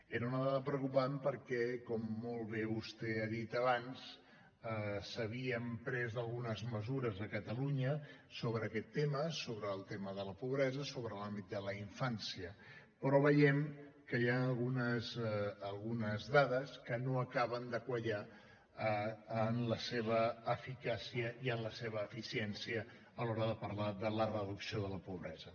era una dada preocupant perquè com molt bé vostè ha dit abans s’havien pres algunes mesures a catalunya sobre aquest tema sobre el tema de la pobresa sobre l’àmbit de la infància però veiem que hi han algunes dades que no acaben de quallar en la seva eficàcia i en la seva eficiència a l’hora de parlar de la reducció de la pobresa